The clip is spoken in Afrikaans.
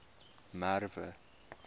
merwe